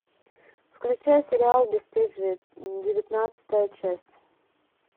включай сериал бесстыжие девятнадцатая часть